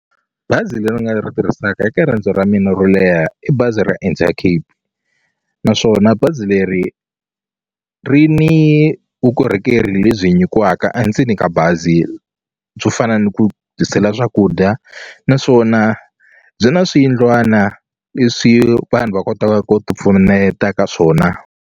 Bazi leri nga ni ri tirhisaka eka riendzo ra mina ro leha i bazi ra Intercape naswona bazi leri ri ni vukorhokeri lebyi nyikiwaka a ndzeni ka bazi byo fana ni ku tisela swakudya naswona byi na swiyindlwana leswi vanhu va kotaka ku ti pfuneta ka swona.